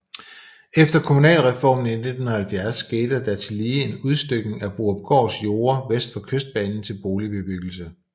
Efter kommunalreformen i 1970 skete der tillige en udstykning af Borupgårds jorder vest for Kystbanen til boligbebyggelse